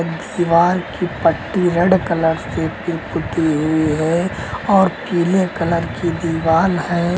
दीवार की पट्टी रेड कलर से की पुती हुई है और पीले कलर की दीवाल है।